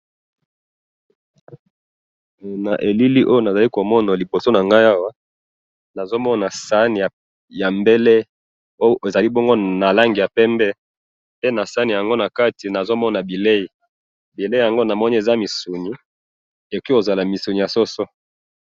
Na moni sani ya pembe na kati misuni ya soso,